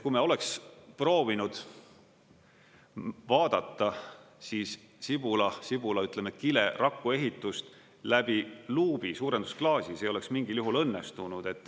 Kui me oleks proovinud vaadata siis sibulakile raku ehitust läbi luubi, suurendusklaasi, see ei oleks mingil juhul õnnestunud.